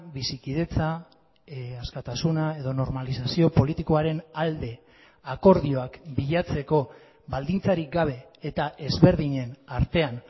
bizikidetza askatasuna edo normalizazio politikoaren alde akordioak bilatzeko baldintzarik gabe eta ezberdinen artean